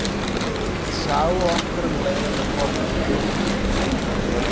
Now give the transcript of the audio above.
Sáu okkur um leið og við komum til þeirra.